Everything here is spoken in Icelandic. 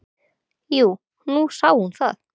"""Jú, nú sá hún það."""